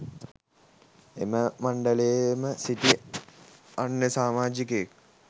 එම මණ්ඩලයේ ම සිටි අන්‍ය සාමාජිකයෙක්